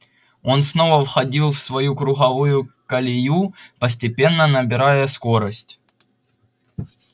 он снова входил в свою круговую колею постепенно набирая скорость